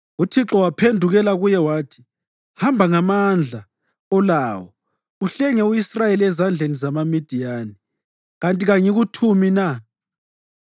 UThixo waphendukela kuye wathi, “Hamba ngamandla olawo uhlenge u-Israyeli ezandleni zamaMidiyani. Kanti kangikuthumi na?”